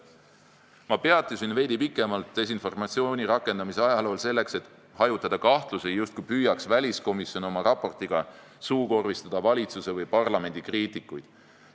" Ma peatusin desinformatsiooni rakendamise ajalool veidi pikemalt selleks, et hajutada kahtlusi, justkui püüaks väliskomisjon oma raportiga suukorvistada valitsuse või parlamendi kriitikuid.